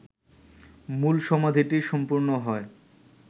মূল সমাধিটি সম্পূর্ণ হয়